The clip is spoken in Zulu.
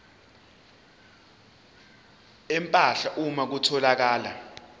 empahla uma kutholakala